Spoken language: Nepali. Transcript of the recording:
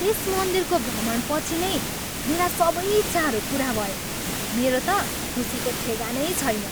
त्यस मन्दिरको भ्रमणपछि नै मेरा सबै इच्छाहरू पुरा भए। मेरो त खुसीको ठेगानै छैन।